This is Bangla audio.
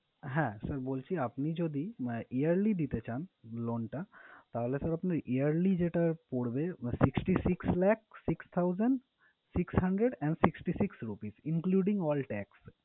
হ্যাঁ sir বলছি, আপনি যদি yearly দিতে চান loan টা তাহলে sir আপনার yearly যেটা পড়বে, sixty six lakh six thousand six hundred and sixty six rupees including all tax